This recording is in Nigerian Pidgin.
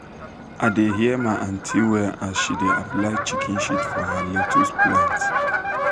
i da hear my aunty well as she da apply chicken shit for her lettuce plant